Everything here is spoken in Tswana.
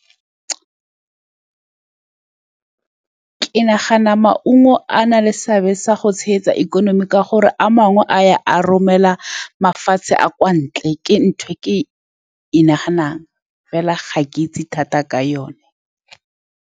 Ke nagana maungo a na le seabe sa go tshegetsa ikonomi, ka gore a mangwe a ya a romela mafatshe a a kwa ntle. Ke ntho e ke e naganang fela ga ke itse thata ka yone.